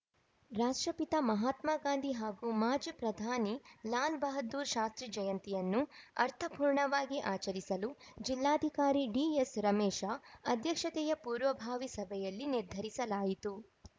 ರಾಷ್ಟ್ರಪಿತ ಮಹಾತ್ಮ ಗಾಂಧಿ ಹಾಗೂ ಮಾಜಿ ಪ್ರಧಾನಿ ಲಾಲ್‌ ಬಹದ್ದೂರ್‌ ಶಾಸ್ತ್ರಿ ಜಯಂತಿಯನ್ನು ಅರ್ಥಪೂರ್ಣವಾಗಿ ಆಚರಿಸಲು ಜಿಲ್ಲಾಧಿಕಾರಿ ಡಿಎಸ್‌ರಮೇಶ ಅಧ್ಯಕ್ಷತೆಯ ಪೂರ್ವಭಾವಿ ಸಭೆಯಲ್ಲಿ ನಿರ್ಧರಿಸಲಾಯಿತು